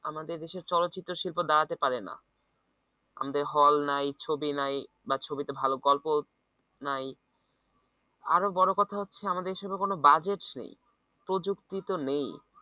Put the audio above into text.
আমাদের দেশের চলচ্চিত্র শিল্প দাঁড়াতে পারে না আমাদের হল নাই ছবি নাই বা ছবিতে ভালো গল্প নাই আরো বড় কথা হচ্ছে আমাদের ছবির কোন budgets নেই প্রযুক্তি তো নেই